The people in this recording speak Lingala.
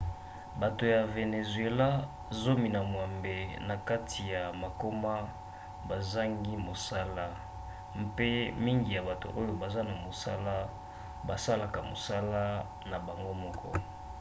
bato ya vénézuéla zomi na mwambe na kati ya mokama bazangi mosala mpe mingi ya bato oyo baza na mosala basalaka mosala na bango moko